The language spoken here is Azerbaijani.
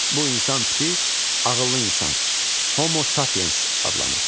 Bu insan tipi ağıllı insan, Homo Sapiens adlanır.